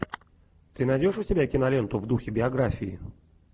ты найдешь у себя киноленту в духе биографии